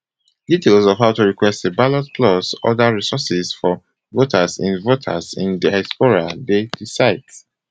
details of how to request a ballot plus oda resources for voters in voters in diaspora dey di site